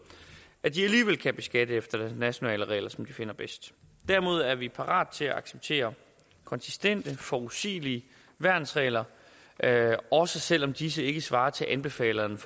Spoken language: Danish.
at de alligevel kan beskatte efter nationale regler som de finder bedst derimod er vi parate til at acceptere konsistente forudsigelige værnsregler også selv om disse ikke svarer til anbefalingerne